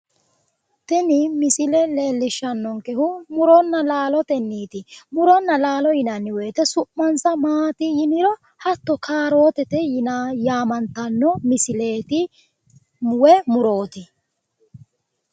Tini misile leellishannonkehu muronna laalotenniiti muronna laalo yinanni woyite su'muwansa maati yiniro hatto kaarootete yaamantanno misileeti woyi murooti